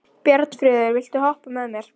Bjarnfreður, viltu hoppa með mér?